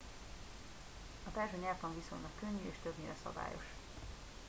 a perzsa nyelvtan viszonylag könnyű és többnyire szabályos